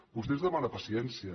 vostè ens demana paciència